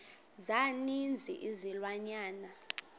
za ninzi izilwanyana